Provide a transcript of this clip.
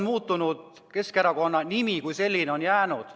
Keskerakonna nimi kui selline on jäänud.